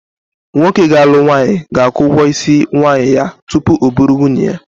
Nwoke ga-alụ nwaanyị ga-akwụ ụgwọ isi nwaanyị ya tupu ọ bụrụ nwunye ya